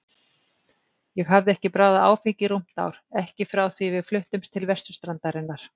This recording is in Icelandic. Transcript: Ég hafði ekki bragðað áfengi í rúmt ár, ekki frá því við fluttumst til vesturstrandarinnar.